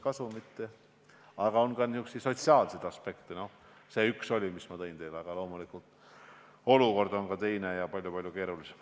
Kuid esineb ka niisuguseid sotsiaalseid aspekte nagu see üks näide, mille ma teile tõin, aga loomulikult on ka olukord teine ja palju-palju keerulisem.